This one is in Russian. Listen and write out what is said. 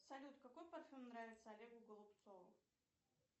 салют какой парфюм нравится олегу голубцову